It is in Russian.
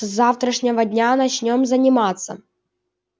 с завтрашнего дня начнём заниматься